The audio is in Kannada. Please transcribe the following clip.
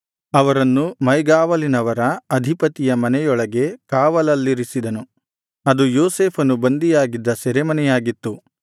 ಅವರನ್ನು ಮೈಗಾವಲಿನವರ ಅಧಿಪತಿಯ ಮನೆಯೊಳಗೆ ಕಾವಲಲ್ಲಿರಿಸಿದನು ಅದು ಯೋಸೇಫನು ಬಂಧಿಯಾಗಿದ್ದ ಸೆರೆಮನೆಯಾಗಿತ್ತು